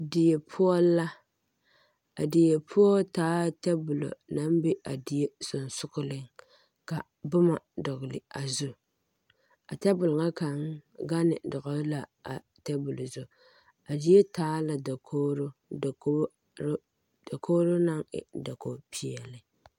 Die poɔ la a die poɔ taa la tabola naŋ be a die sensogleŋ ka boma dɔgle a zu a tabole ŋa kaŋ gane dɔgle la a tabole zu a zie taa la dakogro dakogi dakogro dakogro naŋ e dakogipeɛle.